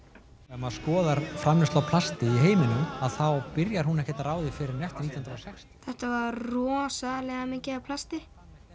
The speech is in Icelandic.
ef maður skoðar famleiðslu á plasti í heiminum þá byrjar hún ekki þEtta var rosalega mikið af plasti